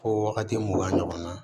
Ko wagati mugan ɲɔgɔn na